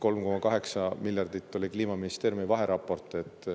3,8 miljardit oli Kliimaministeeriumi vaheraportis.